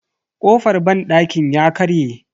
Kofar banɗakin ya karye.